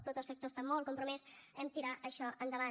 tot el sector està molt compromès a tirar això endavant